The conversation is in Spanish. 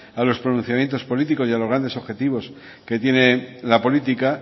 a los pronunciamientos políticos y a los grandes objetivos que tiene la política